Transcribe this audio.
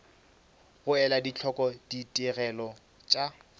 go ela hloko ditigelo tša